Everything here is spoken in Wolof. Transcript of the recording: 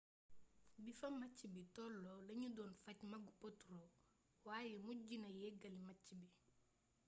bi fa match bi tolloo lañu doon faj mbagu potro waaye mujji na yeggali match bi